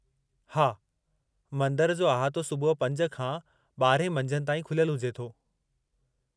हा मंदरु जो अहातो सुबुह 5 खां 12 मंझंदि ताईं खुलियलु हुजे थो।